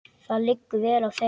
Það liggur vel á þeim.